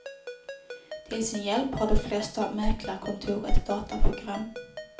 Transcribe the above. Till sin hjälp har de flesta mäklarkontor ett dataprogram.